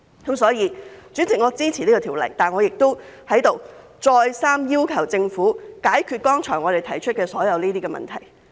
因此，主席，我支持《條例草案》，但我亦在此再次要求政府解決我們剛才提出的所有問題。